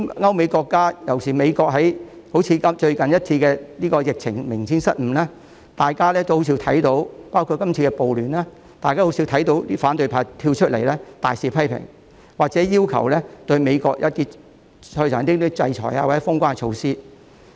歐美國家——尤其是美國——在近期的疫情中明顯處理失誤，包括今次的暴亂，大家卻很少看到反對派公開大肆批評，或者要求制裁美國或實施封關措施。